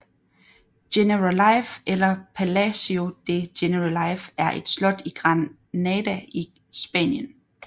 Generalife eller Palacio de Generalife er et slot i Granada i Spanien